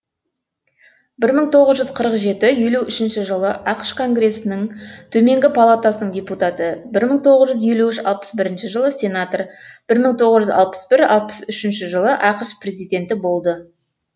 бір мың тоғыз жүз қырық жеті елу үшінші жылы ақш конгресінің төменгі палатасының депутаты бір мың тоғыз жүз елу үш алпыс бірінші жылы сенатор бір мың тоғыз жүз алпыс бір алпыс үшінші жылы ақш президенті болды